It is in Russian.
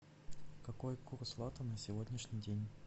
какой курс лата на сегодняшний день